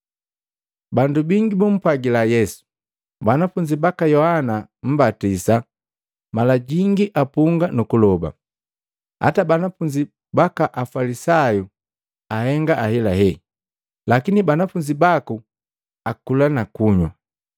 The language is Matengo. Bandu bangi bumpwagila Yesu, “Banafunzi baka Yohana mmbatisa mala jingi apunga nu kuloba, hata banafunzi baka Afalisayu ahenga ahelahe. Lakini banafunzi baku akula na kunywa.”